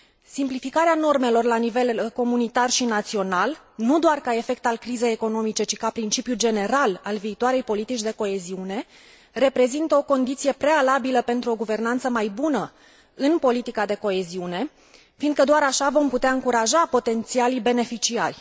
Simplificarea normelor la nivel comunitar și național, nu doar ca efect al crizei economice, ci ca principiu general al viitoarei politici de coeziune, reprezintă o condiție prealabilă pentru o guvernanță mai bună în politica de coeziune, fiindcă doar așa vom putea încuraja potențialii beneficiari.